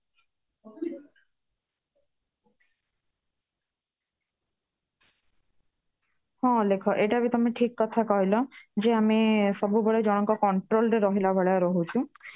ହଁ ଅଲେଖ ଏଇଟା ବି ତମେ ଠିକ କଥା କହିଲ କି ମଏ ସବୁବେଳେ ଜଣଙ୍କ control ରେ ରାହୁଳା ଭଲାଇ ରହୁଛି